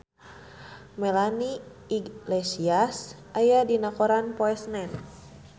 Melanie Iglesias aya dina koran poe Senen